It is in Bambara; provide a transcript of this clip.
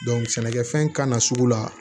sɛnɛkɛfɛn kana sugu la